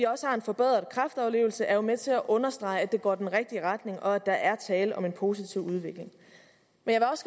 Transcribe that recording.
også har en forbedret kræftoverlevelse er jo med til at understrege at det går i den rigtige retning og at der er tale om en positiv udvikling men